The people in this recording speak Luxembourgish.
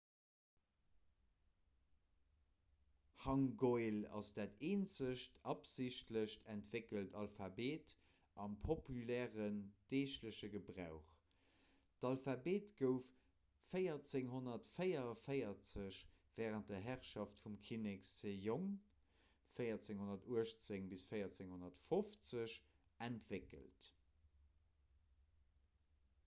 hangeul ass dat eenzegt absichtlech entwéckelt alphabet am populären deegleche gebrauch. d'alphabet gouf 1444 wärend der herrschaft vum kinnek sejong 1418 – 1450 entwéckelt